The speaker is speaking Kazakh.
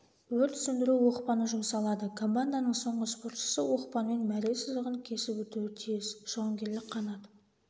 өрт сөндіру оқпаны жұмсалады команданың соңғы спортшысы оқпанмен мәре сызығын кесіп өтуі тиіс жауынгерлік қанат